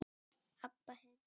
Abba hin.